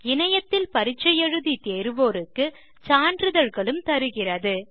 இணையத்தில் பரிட்சை எழுதி தேர்வோருக்கு சான்றிதழ்களும் தருகிறது